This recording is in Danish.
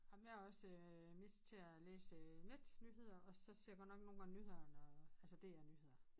Ej men jeg er også mest til at læse netnyheder og så ser jeg godt nok nogle gange nyhederne altså DR nyheder